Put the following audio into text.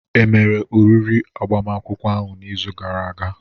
Emere oriri agbamakwụkwọ ahụ n'izu gara aga?